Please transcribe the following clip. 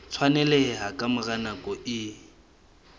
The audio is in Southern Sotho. tshwaneleha ka mora nako e